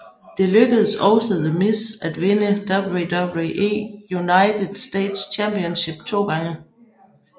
Det lykkedes også The Miz at vinde WWE United States Championship to gange